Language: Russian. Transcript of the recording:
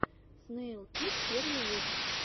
снэйлкик первый выпуск